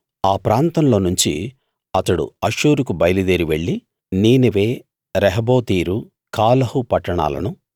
ఆ ప్రాంతంలో నుంచి అతడు అష్షూరుకు బయలుదేరి వెళ్ళి నీనెవె రహోబోతీరు కాలహు పట్టణాలను